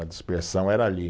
A dispersão era ali.